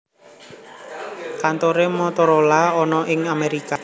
Kantore Motorola ana ing Amerika Serikat